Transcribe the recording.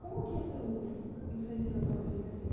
Como que isso influenciou a tua vida assim?